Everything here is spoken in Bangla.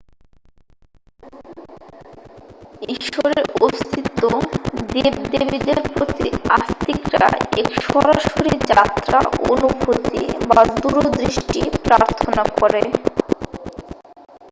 ঈশ্বরের অস্তিত্ব/ দেব-দেবীদের প্রতি আস্তিকরা এক সরাসরি যাত্রা অনুভূতি বা দূরদৃষ্টি প্রার্থনা করে।